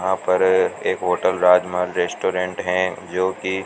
यहां पर एक होटल राजमहल रेस्टोरेंट हैं जो की--